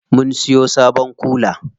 Mun siyo sabon kula.